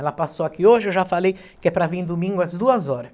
Ela passou aqui hoje, eu já falei que é para vir domingo às duas horas.